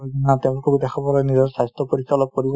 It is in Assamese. নিজৰ স্বাস্থ্য পৰীক্ষা অলপ